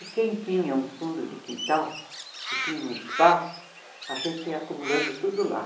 E quem tinha um fundo de quintal, que tinha um espaço, a gente ia acumulando tudo lá.